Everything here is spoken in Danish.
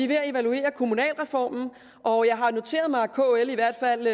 ved at evaluere kommunalreformen og jeg har noteret mig at kl i hvert fald